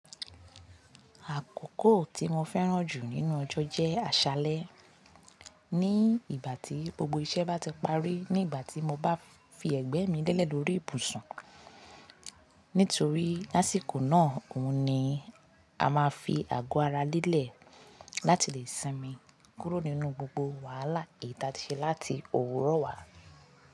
Àkókò tí mo fẹ́ràn jù nínú ọjọ́ jẹ́ àṣálẹ́. Ní ìgbà tí gbogbo iṣẹ́ bá ti parí, ní ìgbà tí mo bá fi ẹ̀gbẹ́ mi lelẹ̀ lórí ibùsùn. Nítorí lásìkò náà òun ni a máa fi àgọ́ ara lelẹ̀ láti lè sinmi kúrò nínú gbogbo wàhálà èyítí ati ṣe láti òwúrọ̀ wá.